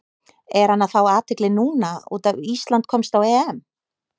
Er hann að fá athygli núna út af Ísland komst á EM?